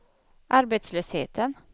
arbetslösheten